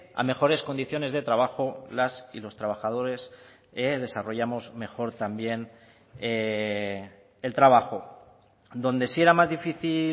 a mejores condiciones de trabajo las y los trabajadores desarrollamos mejor también el trabajo donde sí era más difícil